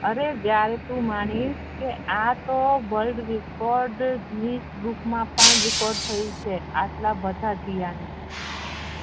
અરે જયારે તું માનીશ કે આતો વલ્ડરેકોર્ડ ગ્રીનીશ બૂક મા પણ રેકોર્ડ થયું છે